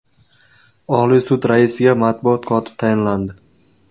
Oliy sud raisiga matbuot kotib tayinlandi.